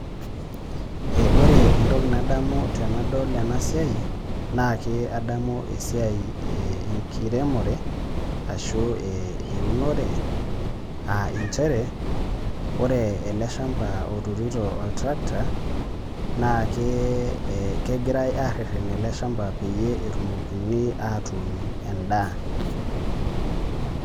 Ore entoki nadamu tenadol enasiai, naa ake adamu esiai enkiremore, ashu eunore, ah injere, ore ele shamba oturito oltrakta, naa kegirai arrerren ele shamba peyie etumokini atuun endaa.